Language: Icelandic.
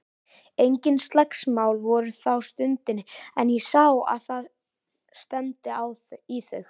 Engin slagsmál voru þá stundina en ég sá að það stefndi í þau.